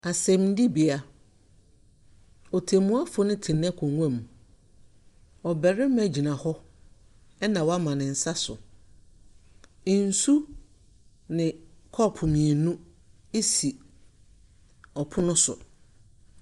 Asɛndibea: Ɔtɛmmua no te n’akonnwa mu. Ɔbarima gyina hɔ na wɔama ne nsa so. Nsu ne kɔɔpo mmienu si ɔpono so.